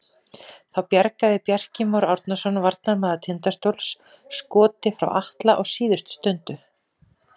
Þá bjargaði Bjarki Már Árnason varnarmaður Tindastóls skoti frá Atla á síðustu stundu.